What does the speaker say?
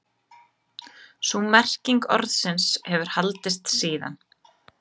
Sú merking orðsins hefur haldist síðan.